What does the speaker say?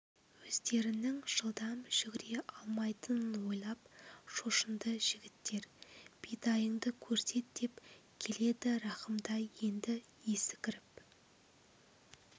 өздерінің жылдам жүгіре алмайтынын ойлап шошынды жігіттер бидайыңды көрсет деп келеді рахымтай енді есі кіріп